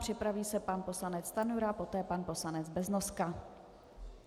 Připraví se pan poslanec Stanjura, poté pan poslanec Beznoska.